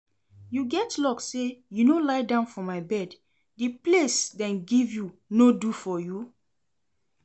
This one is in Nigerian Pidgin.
You get luck say you no lie down for my bed, the place dem give you no do for you?